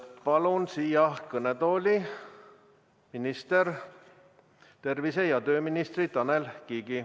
Palun siia kõnetooli arupärimisele vastama tervise- ja tööminister Tanel Kiige.